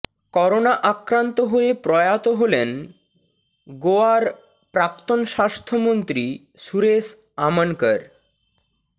corona আক্রান্ত হয়ে প্রয়াত হলেন গোয়ার প্রাক্তন স্বাস্থ্যমন্ত্রী সুরেশ আমনকর